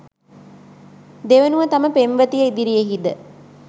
දෙවනුව තම පෙම්වතිය ඉදිරියෙහිද